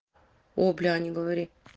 о бля не говори